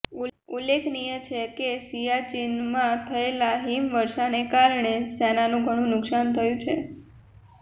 ઉલ્લેખનીય છે કે સિયાચીનમાં થયેલા હિમવર્ષાને કારણે સેનાનું ઘણું નુકસાન થયું છે